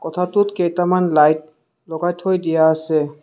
কোঠাটোত কেইটামান লাইট লগাই থৈ দিয়া আছে।